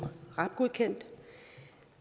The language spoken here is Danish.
rab godkendt